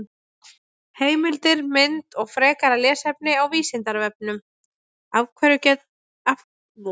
Heimildir, mynd og frekara lesefni á Vísindavefnum: Af hverju hafa karlmenn geirvörtur?